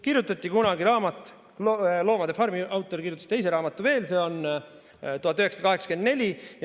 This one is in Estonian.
Kunagi kirjutas "Loomade farmi" autor teise raamatu veel, see on "1984".